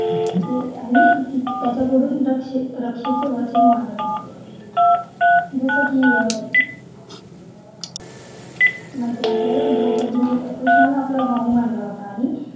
ती आणि त्याच्या कडून दक्ष रक्ष रक्षेचं वचन मागत असते जसं की अह माहिती आपल्याला द्रौपदीने अह कृष्णाला आपला भाऊ मानला होता आणि